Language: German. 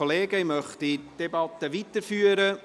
Ich möchte die Debatte weiterführen.